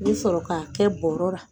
I bɛ sɔrɔ k'a kɛ bɔrɔ la.